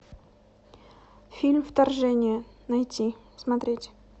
фильм вторжение найти смотреть